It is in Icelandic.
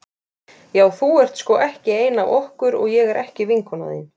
Já þú ert sko ekki ein af okkur og ég er ekki vinkona þín.